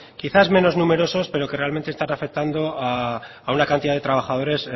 quizás menos numerosos pero que realmente está afectando a una cantidad de trabajadores